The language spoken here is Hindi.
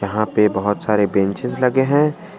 यहां पे बहुत सारे बेंचेज लगे हैं।